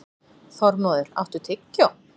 Þormóður, áttu tyggjó?